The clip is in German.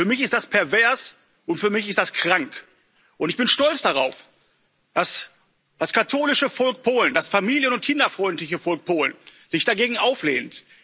Für mich ist das pervers, und für mich ist das krank. Ich bin stolz darauf, dass das katholische Volk Polen, das familien und kinderfreundliche Volk Polen sich dagegen auflehnt.